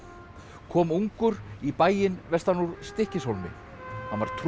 kom ungur í bæinn vestan úr Stykkishólmi hann var